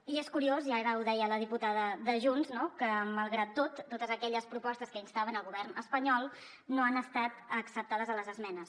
i és curiós i ara ho deia la diputada de junts que malgrat tot totes aquelles propostes que instaven el govern espanyol no han estat acceptades a les esmenes